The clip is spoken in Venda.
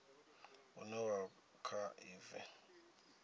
une wa kha i bva